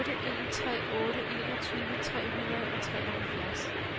otte en tre otte enogtyve tre hundrede og treoghalvfjerds